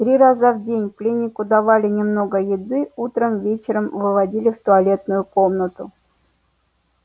три раза в день пленнику давали немного еды утром и вечером выводили в туалетную комнату